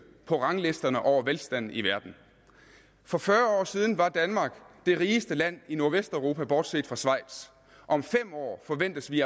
på ranglisterne over velstanden i verden for fyrre år siden var danmark det rigeste land i nordvesteuropa bortset fra schweiz om fem år forventes vi